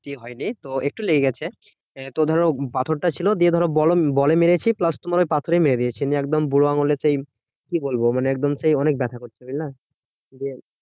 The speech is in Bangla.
ক্ষতি হয়নি তো একটু লেগে গেছে। তো ধরো পাথরটা ছিল দিয়ে ধরো বল~বলে মেরেছি plus তোমার ওই পাথরেই মেরে দিয়েছি। নিয়ে একদম বুড়োআঙুলে সেই, কি বলবো মানে একদম সেই অনেক ব্যাথা করছে বুঝলে